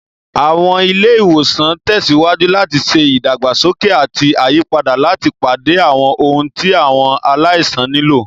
Àwọn ilé ìwòsàn ń tẹ̀síwájú láti ṣe ìdàgbàsókè àti àyípadà láti pàdé àwọn ohun tí àwọn aláìsàn nílò.